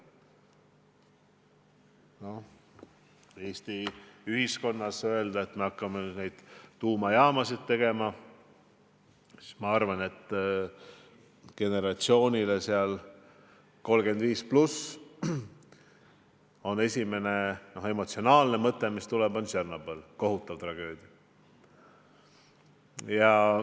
Noh, kui Eesti ühiskonnas öelda, et me hakkame tuumajaamasid tegema, siis küllap generatsioonile 35+ tuleb esimese emotsioonina meelde Tšernobõli kohutav tragöödia.